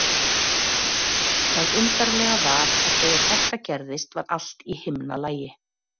Það undarlega var að þegar þetta gerðist var allt í himnalagi.